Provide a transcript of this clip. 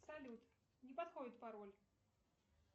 салют не подходит пароль